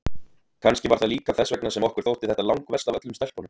Kannski var það líka þess vegna sem okkur þótti þetta langverst af öllum stelpunum.